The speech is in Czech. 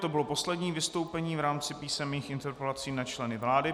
To bylo poslední vystoupení v rámci písemných interpelací na členy vlády.